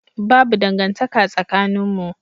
Babu dangantaka tsakaninmu.